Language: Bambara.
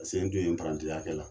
Sen parantiya kɛ la.